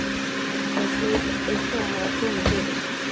Það hlaut eitthvað að hafa komið fyrir.